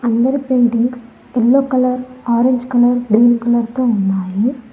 అందరి paintings yellow colour orange colour blue colour తో ఉన్నాయి.